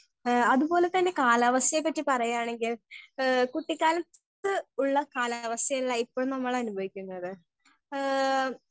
Speaker 1 ഏ അത് പോലെ കാലാവസ്ഥയെ പറ്റി പറയാണെങ്കിൽ ഏ കുട്ടിക്കാലത്ത് ഉള്ള കാലാവസ്ഥ അല്ല ഇപ്പൊ നമ്മൾ അനുഭവിക്കുന്നത് ഏ.